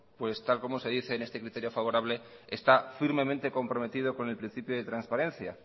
pues tal como se dice en este criterio favorable está firmemente comprometido con el principio de transparencia